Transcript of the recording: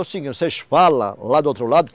É o seguinte, vocês fala lá do outro lado.